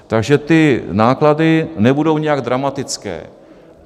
Takže ty náklady nebudou nijak dramatické.